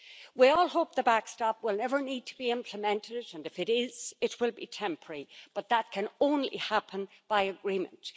We all hope the backstop will never need to be implemented, and if it is, it will be temporary, but that can only happen by agreement.